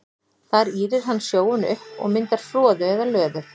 Þar ýrir hann sjóinn upp og myndar froðu eða löður.